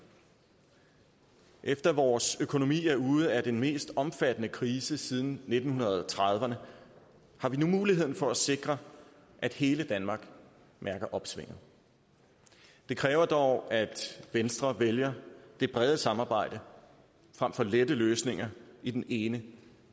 efter at vores økonomi er ude af den mest omfattende krise siden nitten trediverne har vi nu muligheden for at sikre at hele danmark mærker opsvinget det kræver dog at venstre vælger det brede samarbejde frem for lette løsninger i den ene